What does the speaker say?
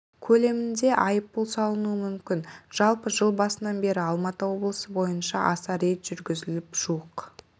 көлемінде айыппұл салынуы мүмкін жалпы жыл басынан бері алматы облысы бойынша аса рейд жүргізіліп жуық